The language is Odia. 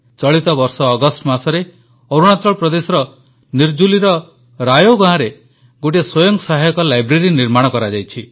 ଚଳିତ ବର୍ଷ ଅଗଷ୍ଟ ମାସରେ ଅରୁଣାଚଳ ପ୍ରଦେଶର ନିରଜୁଲିର ରାୟୋ ଗାଁରେ ଗୋଟିଏ ସ୍ୱୟଂ ସହାୟକ ଲାଇବ୍ରେରୀ ନିର୍ମାଣ କରାଯାଇଛି